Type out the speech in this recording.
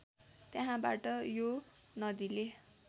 त्यहाँबाट यो नदीले